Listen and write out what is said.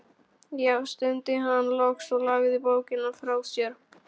Já, stundi hann loks og lagði bókina frá sér.